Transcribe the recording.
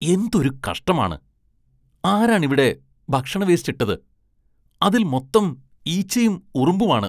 എന്തൊരു കഷ്ടമാണ്, ആരാണിവിടെ ഭക്ഷണവേസ്റ്റ് ഇട്ടത്? അതില്‍ മൊത്തം ഈച്ചയും ഉറുമ്പുമാണ്.